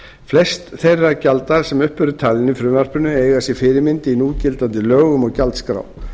flest þeirra gjalda sem upp eru talin í frumvarpinu eiga sér fyrirmynd í núgildandi lögum og gjaldskrá